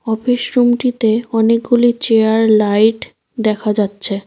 Office রুমটিতে অনেকগুলি chair light দেখা যাচ্ছে।